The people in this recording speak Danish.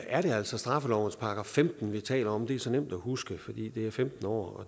er det altså straffelovens § femten vi taler om det er så nemt at huske fordi det er femten år